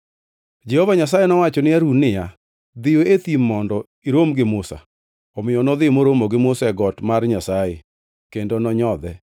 Jehova Nyasaye nowacho ni Harun niya, “Dhiyo e thim mondo irom gi Musa.” Omiyo nodhi moromo gi Musa e got mar Nyasaye kendo nonyodhe.